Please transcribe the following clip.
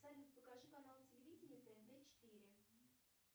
салют покажи канал телевидения тнт четыре